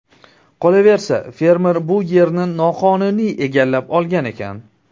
Qolaversa, fermer bu yerni noqonuniy egallab olgan ekan.